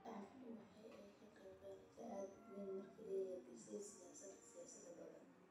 Shacbigu waxa ay qabeen rajo aad u weyn ka dib markii ay hirgashay siyaasadda xisbiyada badan.